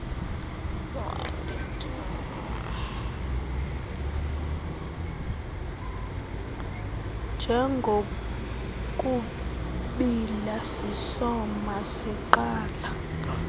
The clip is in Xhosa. njengokubiila sisoma siqala